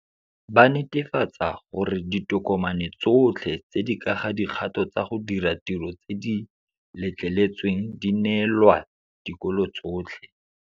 Ba netefatsa gore ditokomane tsotlhe tse di ka ga dikgato tsa go dira tiro tse di letleletsweng di neelwa dikolo tsotlhe.